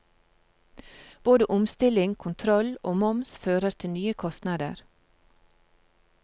Både omstilling, kontroll og moms fører til nye kostnader.